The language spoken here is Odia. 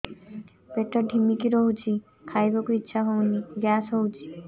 ପେଟ ଢିମିକି ରହୁଛି ଖାଇବାକୁ ଇଛା ହଉନି ଗ୍ୟାସ ହଉଚି